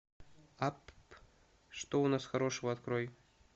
апп что у нас хорошего открой